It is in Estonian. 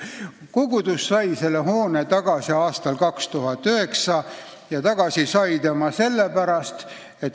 Lõpuks anti Maarja kiriku hoone tagasi aastal 2009.